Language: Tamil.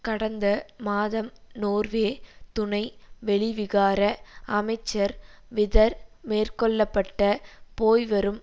கடந்த மாதம் நோர்வே துணை வெளிவிகார அமைச்சர் விதர் மேற்கொள்ள பட்ட போய்வரும்